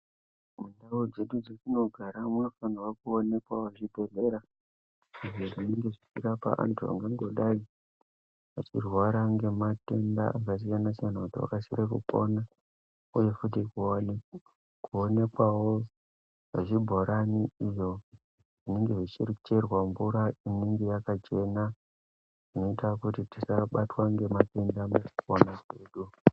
Mundau dzedu dzetinogara munofanirwa kuonekwawo zvibhedhlera izvo zvinenge zvechirapa anthu angangodai achirwara ngematenda akasiyana siyana kuti vakasire kupona. Uye futi kuonekwawo zvibhorani izvo zvinenge zvichicherwa mvura inenge yakachena zvinoita kuti tisabatwa ngematenda mukupona mwedu.